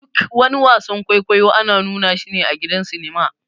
Duk wani wasan-kwaikwaiyo ana nuna shi a gidan sinima.